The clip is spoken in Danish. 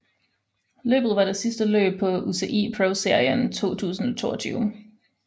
Løbet var det sidste løb på UCI ProSeries 2022